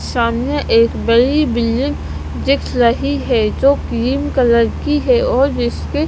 सामने एक बड़ी बिलिंग दिख लही है जो क्रीम कलर की है और भी इसकी--